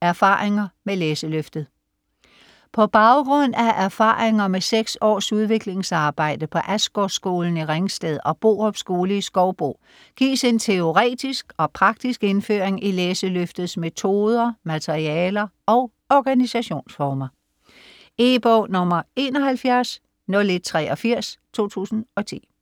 Erfaringer med Læseløftet På baggrund af erfaringer med 6 års udviklingsarbejde på Asgårdsskolen i Ringsted og Borup Skole i Skovbo gives en teoretisk og praktisk indføring i Læseløftets metoder, materialer og organisationsformer. E-bog 710183 2010.